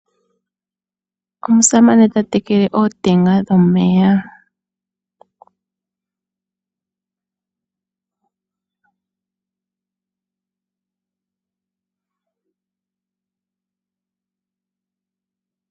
Omusamane ta tekele ootenga dhomeya.